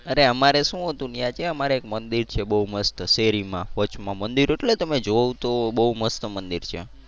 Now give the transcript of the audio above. અરે અમારે શું હતું ત્યાં અમારે છે એક મંદિર છે બહુ મસ્ત છે શેરી માં વચમાં મંદિર એટલે તમે જોવો તો બહુ મસ્ત મંદિર છે આમ.